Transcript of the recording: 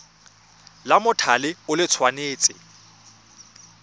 la mothale o le tshwanetse